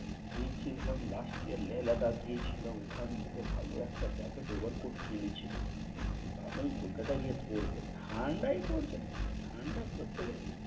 গিয়ে ছিলাম last year Ladakh গিয়াছিলাম ওখান থেকে ভাল একটা jacket over cote কিনে ছিলাম। ভাবলাম কলকাতায় গিয়ে পরব ঠান্ডাই পরছে না, ঠান্ডা পরতে গেলে